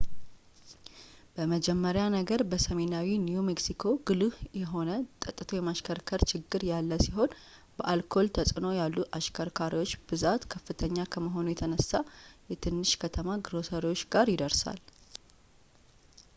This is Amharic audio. በመጀመሪያ ነገር በሰሜናዊው new mexico ጉልህ የሆነ ጠትቶ የማሽከርከር ችግሮች ያለ ሲሆን በአልኮል ተፅዕኖ ያሉ አሽከርካሪዎች ብዛት ከፍተኛ ከመሆኑ የተነሳ የትንሽ ከተማ ግሮሰሪዎች ጋር ይደርሳል